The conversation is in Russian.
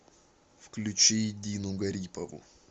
включи дину гарипову